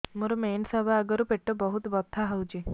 ମୋର ମେନ୍ସେସ ହବା ଆଗରୁ ପେଟ ବହୁତ ବଥା ହଉଚି